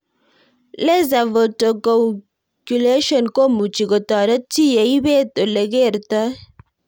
Laser photocoagulation komuchi kotoret chii ye ipet ole kertoi